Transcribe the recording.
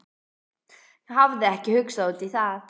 Hafði ekki hugsað út í það.